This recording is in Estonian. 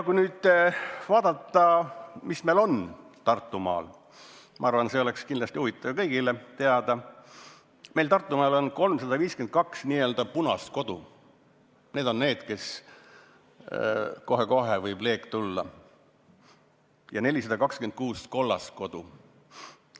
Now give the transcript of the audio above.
Kui nüüd vaadata, mis seis on Tartumaal, siis ma arvan, et kindlasti on kõigil huvitav teada, et Tartumaal on 352 n-ö punast kodu – need on kodud, kus kohe-kohe võib leek tekkida – ja 426 n-ö kollast kodu.